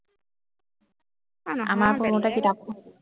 আমাৰ